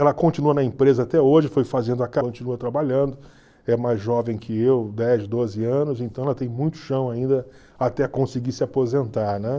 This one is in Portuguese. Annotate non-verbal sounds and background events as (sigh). Ela continua na empresa até hoje (unintelligible) continua trabalhando, é mais jovem que eu, dez, doze anos, então ela tem muito chão ainda até conseguir se aposentar, né?